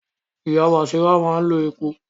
Ìyá Bàsírá máa ń lo epo